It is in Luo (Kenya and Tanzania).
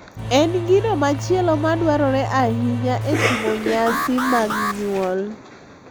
En gino machielo ma dwarore ahinya e timo nyasi mag nyuol.